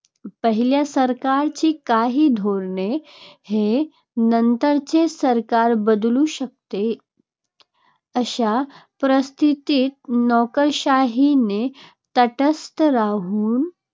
पहिल्या सरकारची काही धोरणे हे नंतरचे सरकार बदलू शकते. अशा परिस्थितीत नोकरशाहीने तटस्थ राहून